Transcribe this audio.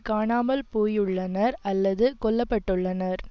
காணாமல் போயுள்ளனர் அல்லது கொல்ல பட்டுள்ளனர்